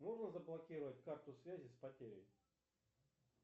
можно заблокировать карту связи с потерей